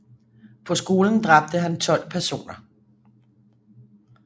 På skolen dræbte han 12 personer